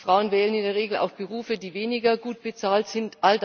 Frauen wählen in der Regel auch Berufe, die weniger gut bezahlt sind.